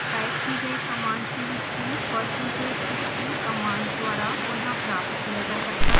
type की गई command की हिस्ट्री percentage history कमांड द्वारा पुनः प्राप्त किया जा सकता है